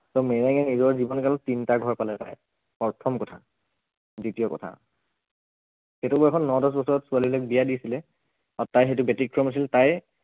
so মেৰেঙে নিজৰ জীৱন কালত তিনিটা ঘৰ পালে তাই প্ৰথম কথা, দ্ৱিতীয় কথা, সেইটো বয়সত ন দহ বছৰত ছোৱালীবিলাক বিয়া দিছিলে আৰু তাই সেইটো ব্য়তিক্ৰম আছিল তাই